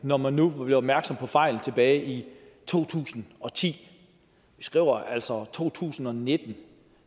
når man nu blev opmærksom på fejlen tilbage i to tusind og ti vi skriver altså to tusind og nitten